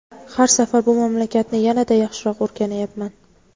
Har safar bu mamlakatni yanada yaxshiroq o‘rganyapman.